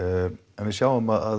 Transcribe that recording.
en við sjáum að